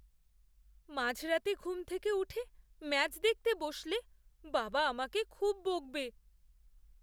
মাঝরাতে ঘুম থেকে উঠে ম্যাচ দেখতে বসলে বাবা আমাকে খুব বকবে।